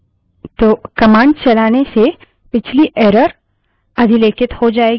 तो कमांड चलाने से पिछली error अधिलेखित हो जायेगी और नई error दिखाई देगी